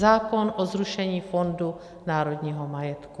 Zákon o zrušení Fondu národního majetku.